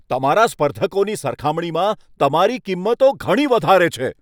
તમારા સ્પર્ધકોની સરખામણીમાં તમારી કિંમતો ઘણી વધારે છે.